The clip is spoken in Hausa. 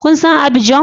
Kun san Abidjan?